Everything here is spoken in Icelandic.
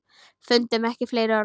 Fundum ekki fleiri orð.